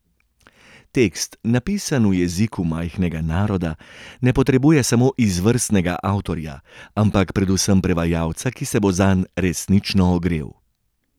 Tekst, napisan v jeziku majhnega naroda, ne potrebuje samo izvrstnega avtorja, ampak predvsem prevajalca, ki se bo zanj resnično ogrel.